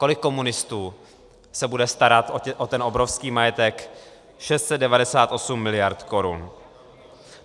Kolik komunistů se bude starat o ten obrovský majetek 698 mld. korun?